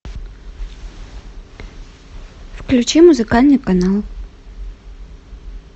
включи музыкальный канал